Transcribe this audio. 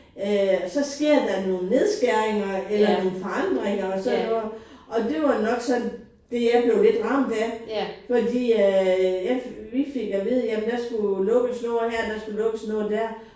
Øh så sker der nogle nedskæringer eller nogle forandringer og sådan noget og det var nok sådan det jeg blev lidt ramt af fordi at jeg fik vi fik at vide at der skulle lukkes noget her der skulle lukkes noget der